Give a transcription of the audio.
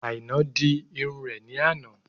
Àínà dì ìrún rẹ̀ ní àná